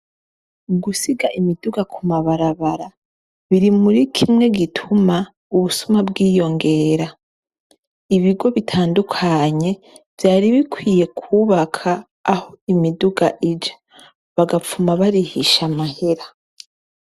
Ugusiga imiduga ku mabarabara, biri muri kimwe gituma ubusuma bwiyongera. Ibigo bitandukanye vyari bikwiye kwubaka aho imiduga ija, bagapfuma barihisha amahera.